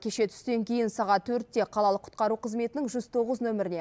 кеше түстен кейін сағат төртте қалалық құтқару қызметінің жүз тоғыз нөміріне